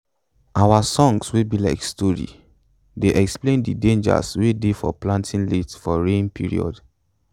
our songs wey be like stori dey explain de dangers wey dey for planting late for rain period